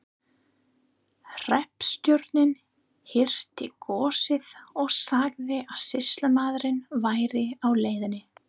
Hreppstjórinn hirti góssið og sagði að sýslumaðurinn væri á leiðinni.